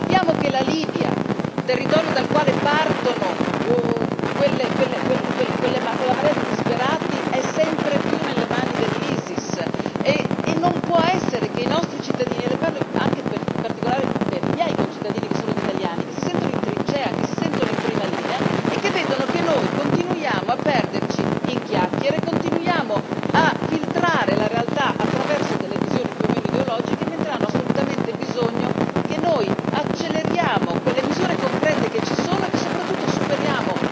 Sappiamo che la Libia, territorio dal quale parte quella marea di disperati, è sempre più nelle mani dell'Isis e non possiamo tollerare che i nostri cittadini e le parlo in particolare a nome dei miei concittadini che sono gli italiani si sentano in trincea, si sentano in prima linea e vedono che noi continuiamo a perderci in chiacchere, continuiamo a filtrare la realtà attraverso visioni più o meno ideologiche mentre hanno assolutamente bisogno che noi acceleriamo sulle misure concrete esistenti e soprattutto che superiamo